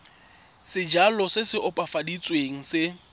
sejalo se se opafaditsweng se